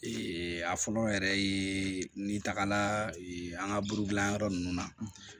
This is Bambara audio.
a fɔlɔ yɛrɛ ye n tagala an ka buru dilan yɔrɔ nunnu na